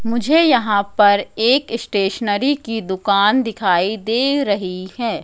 मुझे यहां पर एक स्टेशनरी की दुकान दिखाई दे रही है।